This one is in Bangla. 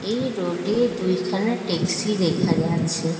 এই রোড এ দুইখানা টেক্সি দেখা যাচ্ছে।